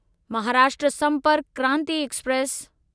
Maharashtra Sampark Kranti express